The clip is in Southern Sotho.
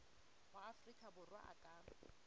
wa afrika borwa a ka